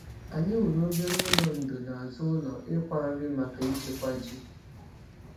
Anyị wuru obere ụlọ ndò n’azụ ụlọ ịkwá nri maka ịchekwa ji.